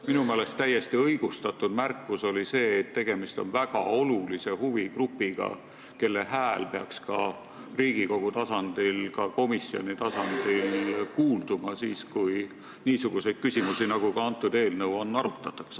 Minu meelest oli täiesti õigustatud märkus, et tegemist on väga olulise huvigrupiga, kelle hääl peaks Riigikogu ja põhiseaduskomisjoni tasandil kuulda olema, kui niisuguseid küsimusi, nagu selles eelnõus on, arutatakse.